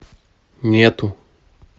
нету